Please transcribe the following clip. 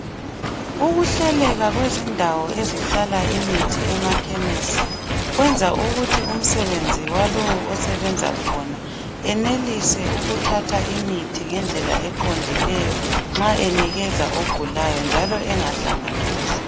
Ukuhleleka kwendawo ezihlala imithi emakhemisi kwenza ukuthi umsebenzi walowo osebenza khona enelise ukuthatha imithi ngendlela eqondileyo nxa enikeza ogulayo njalo engahlanganisi.